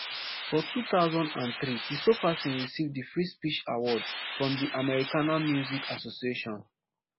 for two thousand and three kristofferson receive di free speech award from di americana music association